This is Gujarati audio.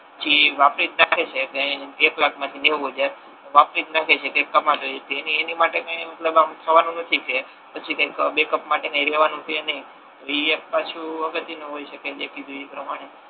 જે વાપરી જ નાખે છે કે એક લાખ માથી નેવુ હજાર વાપરી જ નાખે છે કઈ કામતો ને એની માટે કઈ મતલબ આમ થવાનુ નથી કે પછી ક્યાક બેકઅપ માટે કાઇ થવાનુ છે નહી એ એક પાછુ અગત્ય નુ હોય શકે જે કીધુ એ પ્રમાણે